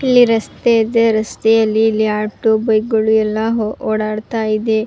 ಇಲ್ಲಿ ರಸ್ತೆ ಇದೆ ರಸ್ತೆಯಲ್ಲಿ ಇಲ್ಲಿ ಆಟೋ ಬೈಕ್ ಗಳು ಎಲ್ಲ ಓಡಾಟ್ತಾ ಇದೆ.